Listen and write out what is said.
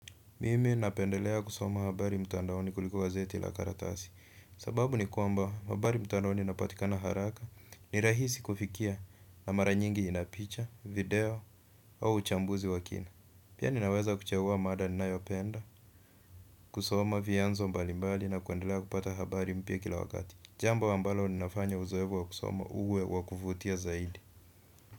Mimi napendelea kusoma habari mtandaoni kuliko gazeti la karatasi. Sababu ni kwamba habari mtandaoni zinapatikana haraka, ni rahisi kufikia, na mara nyingi ina picha, video au uchambuzi wa kina. Pia ninaweza kuchagua mada ninayoipenda. Kusoma vyanzo mbalimbali na kuendelea kupata habari mpya kila wakati. Jambo ambalo ninafanya uzoefu wa kusoma uwe wa kufutia zaidi.